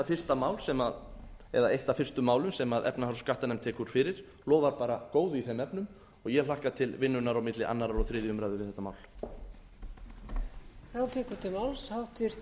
fyrsta mál eða eitt af fyrstu málum sem efnahags og skattanefnd tekur fyrir lofar bara góðu í þeim efnum og ég hlakka til vinnunnar á milli annars og þriðju umræðu um þetta mál